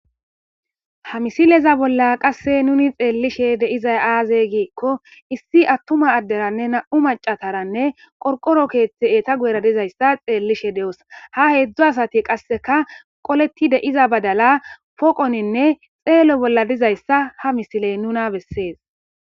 Ha misileza bolla qasse nuni xeellishe deizay aazey giikko issi attuma adderanne nam'u macataranne qorqoro keeththe eeta guera dizayssa xeellishe de'os ha heedzdzo asati qasseka qoleti de'iza badala poqoninne xeelo bolla dizayssa ha misiley nuna bessees